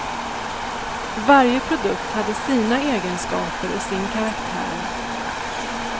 Varje produkt hade sina egenskaper och sin karaktär.